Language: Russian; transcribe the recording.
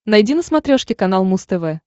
найди на смотрешке канал муз тв